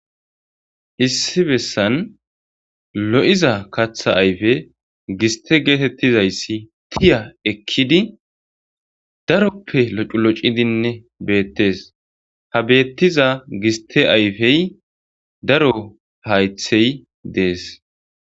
Issi bessan lo'iza katha ayfe giste geetettizayssi tiya ekkidi daroppe loculocidinne beettes ha beettiza giste ayfey daro haythey dees